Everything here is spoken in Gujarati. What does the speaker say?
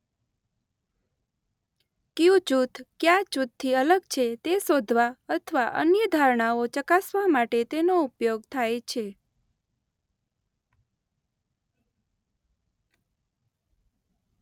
ક્યું જૂથ ક્યા જૂથથી અલગ છે તે શોધવા અથવા અન્ય ધારણાઓ ચકાસવા માટે તેનો ઉપયોગ થાય છે.